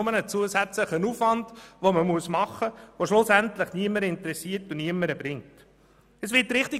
Vielmehr ist es einfach ein zusätzlicher Aufwand, der niemanden interessiert und niemandem etwas bringt.